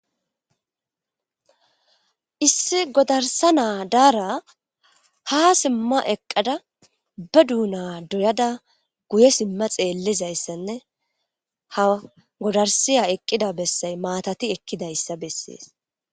Issi godarsa naa daara ha simma eqqada ba duuna doyada guye simma xeellizayssanne ha godarsiya eqqida bessay maatati ekkidayssa bessees